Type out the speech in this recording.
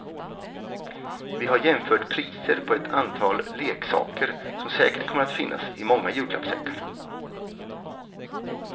Vi har jämfört priser på ett antal leksaker som säkert kommer att finnas i många julklappssäckar.